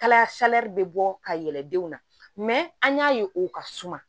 Kalaya bɛ bɔ ka yɛlɛ denw na an y'a ye u ka suma